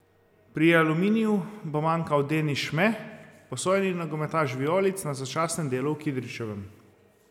Pri Aluminiju bo manjkal Denis Šme, posojeni nogometaš vijolic na začasnem delu v Kidričevem.